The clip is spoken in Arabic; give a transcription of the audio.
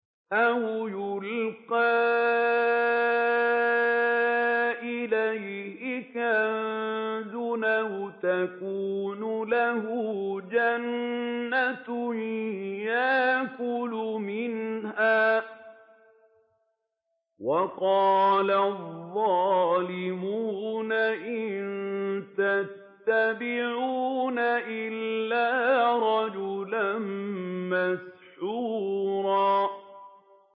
أَوْ يُلْقَىٰ إِلَيْهِ كَنزٌ أَوْ تَكُونُ لَهُ جَنَّةٌ يَأْكُلُ مِنْهَا ۚ وَقَالَ الظَّالِمُونَ إِن تَتَّبِعُونَ إِلَّا رَجُلًا مَّسْحُورًا